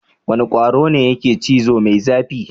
Wane kwaro ne yake cizo mai zafi?